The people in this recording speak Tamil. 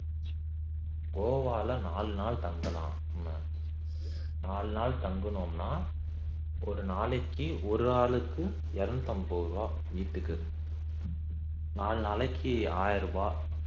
கோவா ல நாலு நாள் தங்கலாம் நம்ம நாலு நாள் தங்கினோம்னா ஒரு நாளைக்கு ஒரு ஆளுக்கு இருநூற்று ஐம்பது ரூபாய் வீட்டுக்கு நாலு நாளைக்கு ஆயிரம் ரூபாய்